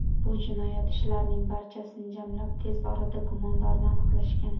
Bu jinoyat ishlarining barchasini jamlab, tez orada gumondorni aniqlashgan.